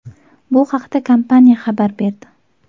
Bu haqda kompaniya xabar berdi.